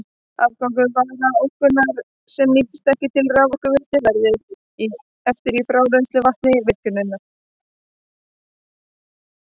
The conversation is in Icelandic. Afgangur varmaorkunnar, sem nýtist ekki til raforkuvinnslu, verður eftir í frárennslisvatni virkjunarinnar.